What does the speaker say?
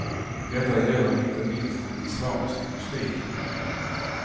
Detta gäller inte minst den islamiska mystiken.